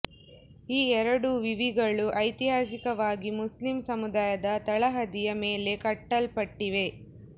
ಈ ಎರಡೂ ವಿವಿಗಳು ಐತಿಹಾಸಿಕವಾಗಿ ಮುಸ್ಲಿಂ ಸಮುದಾಯದ ತಳಹದಿಯ ಮೇಲೆ ಕಟ್ಟಲ್ಪಟ್ಟಿವೆ